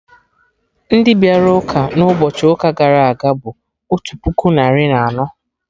Ndị bịara ụka na ụbọchị ụka gara aga bụ otu puku narị na anọ